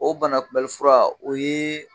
O banakunbɛnni fura o ye